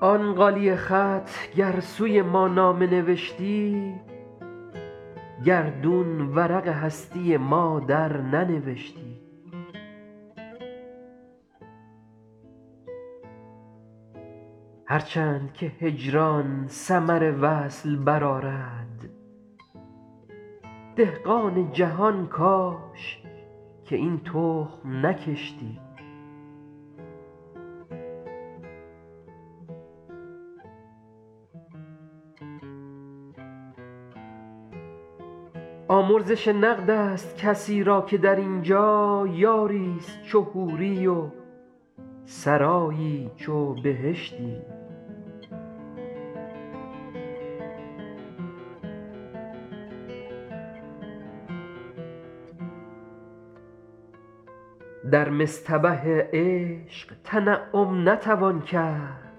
آن غالیه خط گر سوی ما نامه نوشتی گردون ورق هستی ما درننوشتی هر چند که هجران ثمر وصل برآرد دهقان جهان کاش که این تخم نکشتی آمرزش نقد است کسی را که در این جا یاری ست چو حوری و سرایی چو بهشتی در مصطبه عشق تنعم نتوان کرد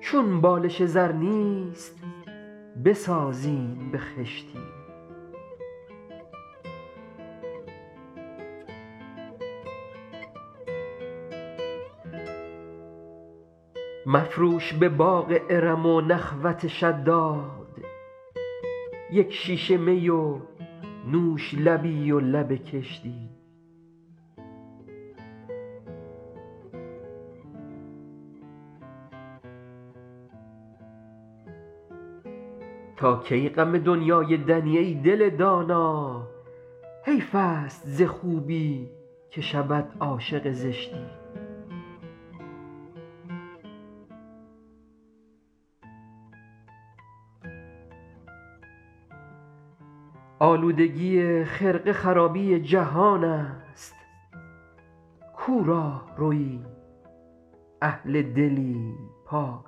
چون بالش زر نیست بسازیم به خشتی مفروش به باغ ارم و نخوت شداد یک شیشه می و نوش لبی و لب کشتی تا کی غم دنیای دنی ای دل دانا حیف است ز خوبی که شود عاشق زشتی آلودگی خرقه خرابی جهان است کو راهروی اهل دلی پاک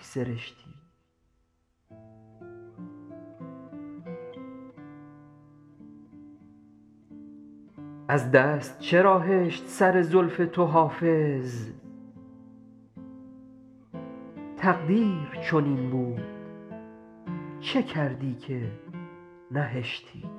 سرشتی از دست چرا هشت سر زلف تو حافظ تقدیر چنین بود چه کردی که نهشتی